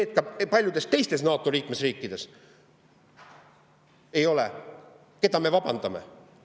Ka paljudes teistes NATO liikmesriikides seda ei ole, aga keda me välja vabandame?